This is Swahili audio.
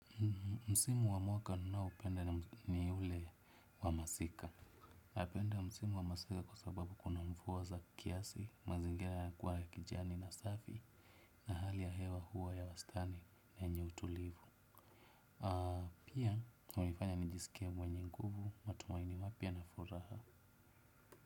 Msimu wa mwaka ninaoupenda ni ule wa masika. Napenda msimu wa masika kwa sababu kuna mvuwa za kiasi, mazingera ya kuwa ya kijani na safi. Na hali ya hewa huwa ya wastani na yenye utulivu. Pia hunifanya nijisikie mwenye nguvu, matumaini mapya na furaha.